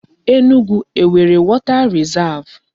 Enugu enwere water risav?